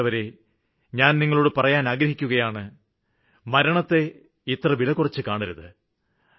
പ്രിയപ്പെട്ടവരെ ഞാന് നിങ്ങളോട് പറയുവാന് ആഗ്രഹിക്കുകയാണ് മരണത്തെ നാം ഇത്ര വിലകുറച്ച് കാണരുത്